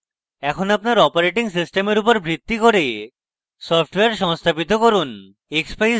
এখন আপনার অপারেটিং সিস্টেমের উপর ভিত্তি করে সফ্টওয়্যার সংস্থাপিত করুন